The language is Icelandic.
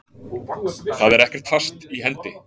Það er ekkert fast í hendi.